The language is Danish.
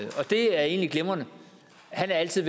det er egentlig glimrende han er altid